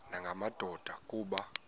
nanga madoda kuba